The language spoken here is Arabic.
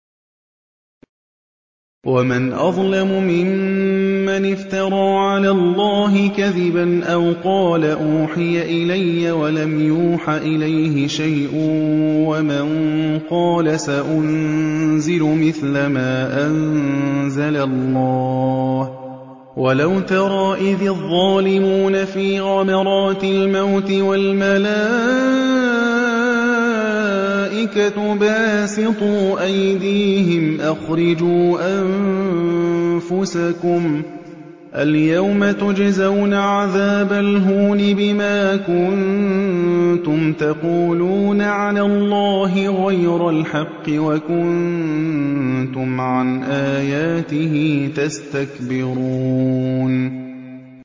وَمَنْ أَظْلَمُ مِمَّنِ افْتَرَىٰ عَلَى اللَّهِ كَذِبًا أَوْ قَالَ أُوحِيَ إِلَيَّ وَلَمْ يُوحَ إِلَيْهِ شَيْءٌ وَمَن قَالَ سَأُنزِلُ مِثْلَ مَا أَنزَلَ اللَّهُ ۗ وَلَوْ تَرَىٰ إِذِ الظَّالِمُونَ فِي غَمَرَاتِ الْمَوْتِ وَالْمَلَائِكَةُ بَاسِطُو أَيْدِيهِمْ أَخْرِجُوا أَنفُسَكُمُ ۖ الْيَوْمَ تُجْزَوْنَ عَذَابَ الْهُونِ بِمَا كُنتُمْ تَقُولُونَ عَلَى اللَّهِ غَيْرَ الْحَقِّ وَكُنتُمْ عَنْ آيَاتِهِ تَسْتَكْبِرُونَ